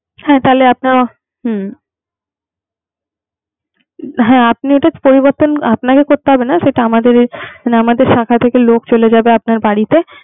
হ্যাঁ তাহলে আপনার হুম হ্যাঁ আপনার পরিবর্তন, আপনাকে করতে হবে না। সেটা আমাদের, আমাদের শাখা থেকে লোক চলে যাবে আপনার বাড়িতে